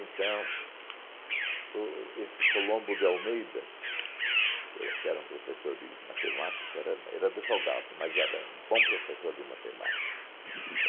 Então, o o esse Colombo de Almeida, por que era um professor de matemática, era era advogado, mas era um bom professor de matemática.